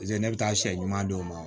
paseke ne bɛ taa sɛ ɲuman d'o ma